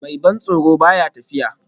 Mai ban tsoro ba ya tafiya